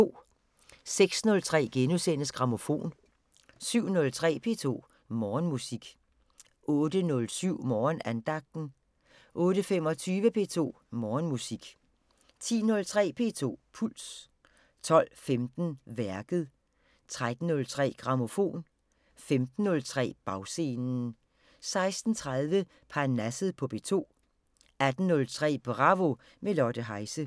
06:03: Grammofon * 07:03: P2 Morgenmusik 08:07: Morgenandagten 08:25: P2 Morgenmusik 10:03: P2 Puls 12:15: Værket 13:03: Grammofon 15:03: Bagscenen 16:30: Parnasset på P2 18:03: Bravo – med Lotte Heise